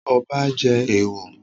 Ọba jẹ èèwọ̀?